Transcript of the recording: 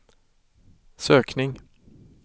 sökning